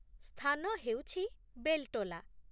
ସ୍ଥାନ ହେଉଛି ବେଲ୍ଟୋଲା।